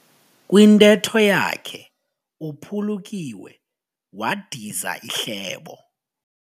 Kwintetho yakhe uphulukiwe wadiza ihlebo.